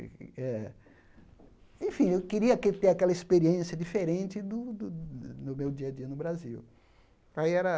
Eh enfim, eu queria aquele ter aquela experiência diferente do do do meu dia a dia no Brasil. Aí era